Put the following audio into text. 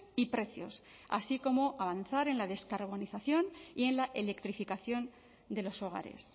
y precios así como avanzar en la descarbonización y en la electrificación de los hogares